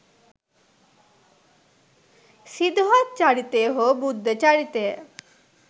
සිදුහත් චරිතය හෝ බුද්ධ චරිතය